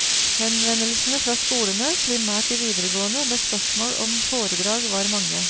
Henvendelsene fra skolene, primært de videregående, med spørsmål om foredrag var mange.